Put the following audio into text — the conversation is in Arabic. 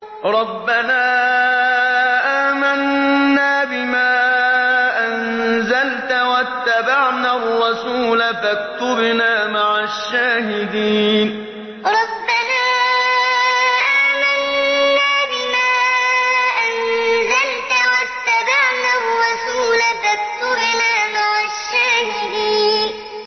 رَبَّنَا آمَنَّا بِمَا أَنزَلْتَ وَاتَّبَعْنَا الرَّسُولَ فَاكْتُبْنَا مَعَ الشَّاهِدِينَ رَبَّنَا آمَنَّا بِمَا أَنزَلْتَ وَاتَّبَعْنَا الرَّسُولَ فَاكْتُبْنَا مَعَ الشَّاهِدِينَ